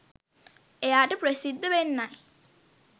එයාට ප්‍රසිද්ධ වෙන්නයි